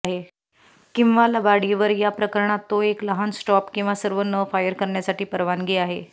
किंवा लबाडीवर या प्रकरणात तो एक लहान स्टॉप किंवा सर्व न फायर करण्यासाठी परवानगी आहे